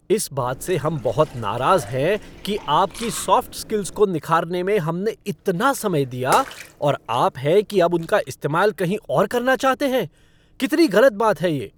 इस बात से हम बहुत नाराज हैं कि आपकी सॉफ़्ट स्किल्स को निखारने में हमने इतना समय दिया, और आप हैं कि अब उनका इस्तेमाल कहीं और करना चाहते हैं। कितनी गलत बात है ये।